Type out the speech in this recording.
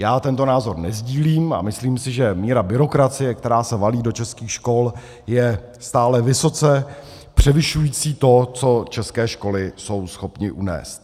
Já tento názor nesdílím a myslím si, že míra byrokracie, která se valí do českých škol, je stále vysoce převyšující to, co české školy jsou schopny unést.